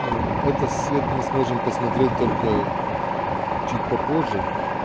это свет мы сможем посмотреть только чуть попозже